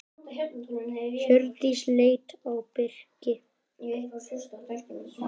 Hjördís leit á Birki.